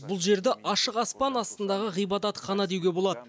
бұл жерді ашық аспан астындағы ғибадатхана деуге болады